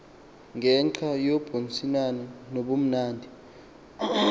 ngenxa yobuncinane nobumnandi